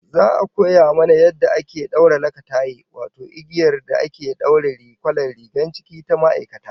Za'a koya mana yadda ake daura lakataye, wato igiyar da ake daure kwalar rigar ciki ta ma'aikata